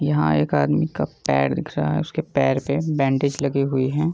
यहाँ एक आदमी का पैर दिख रहा है उसके पैर पे बैंडेज लगे हुए हैं।